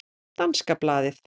Danska blaðið